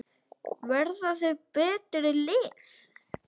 Verða þau betri lið?